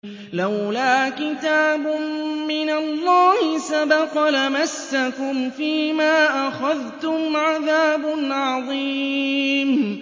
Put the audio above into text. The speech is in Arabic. لَّوْلَا كِتَابٌ مِّنَ اللَّهِ سَبَقَ لَمَسَّكُمْ فِيمَا أَخَذْتُمْ عَذَابٌ عَظِيمٌ